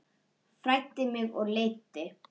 Fræddi mig og leiddi.